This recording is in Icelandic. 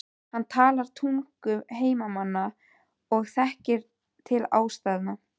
Hann talar tungu heimamanna og þekkir til aðstæðna.